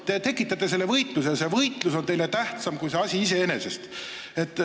Te ise tekitate selle võitluse, võitlus on teile tähtsam kui see asi iseeneses.